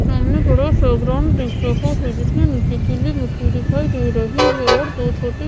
सामने बड़ा सा ग्राउंड दिख रहा है जिसमें नीचे गीली मिट्टी दिखाई दे रही है और दो छोटे--